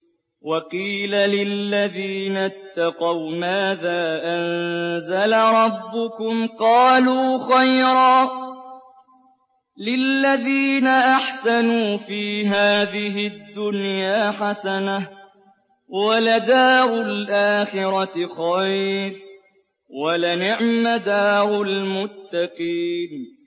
۞ وَقِيلَ لِلَّذِينَ اتَّقَوْا مَاذَا أَنزَلَ رَبُّكُمْ ۚ قَالُوا خَيْرًا ۗ لِّلَّذِينَ أَحْسَنُوا فِي هَٰذِهِ الدُّنْيَا حَسَنَةٌ ۚ وَلَدَارُ الْآخِرَةِ خَيْرٌ ۚ وَلَنِعْمَ دَارُ الْمُتَّقِينَ